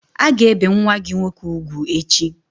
A ga-ebe nwa gị nwoke ugwu echi!